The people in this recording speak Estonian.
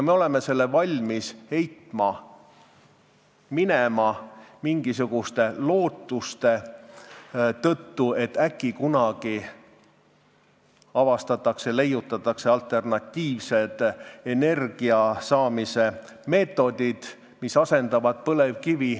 Me oleme valmis selle minema heitma mingisuguste lootuste tõttu, et äkki kunagi leiutatakse alternatiivsed energiasaamise meetodid, mis asendavad põlevkivi.